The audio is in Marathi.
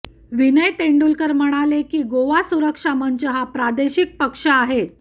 विनय तेंडुलकर म्हणाले की गोवा सुरक्षा मंच हा प्रादेशिक पक्ष आहे